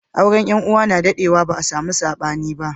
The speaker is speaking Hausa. Auren yan uwa na daɗe wa ba a samu sabani ba